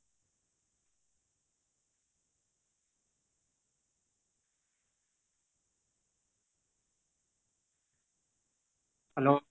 hello